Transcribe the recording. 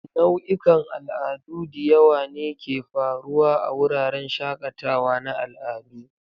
Nau'ikan al'adu diyawa ne ke faruwa a wuraren shakatawa na al'adu